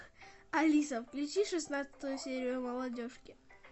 алиса включи шестнадцатую серию молодежки